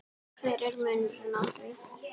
hver er munurinn á því?